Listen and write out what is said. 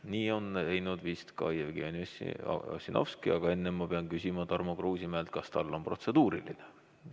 Nii on teinud vist ka Jevgeni Ossinovski, aga enne ma pean küsima Tarmo Kruusimäelt, kas tal on protseduuriline.